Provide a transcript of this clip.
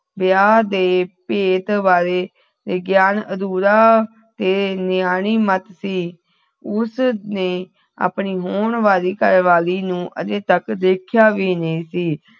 ਵਿਆਹ ਦੇ ਭੇਦ ਬਾਰੇ ਗਿਆਨ ਅਧੂਰਾ ਤੇ ਨਿਆਣੀ ਮਤ ਸੀ ਉਸਨੇ ਆਪਣੀ ਹੋਣ ਵਾਲੀ ਘਰਵਾਲੀ ਨੂੰ ਅਜੇ ਤਕ ਦੇਖਿਆ ਵੀ ਨਹੀਂ ਸੀ